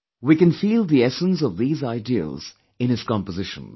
We can feel the essence of these ideals in his compositions